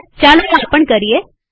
ચાલો આ પણ જોઈએ